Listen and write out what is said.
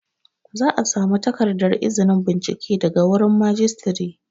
Za a samu takardar izinin bincike daga wurin Majistare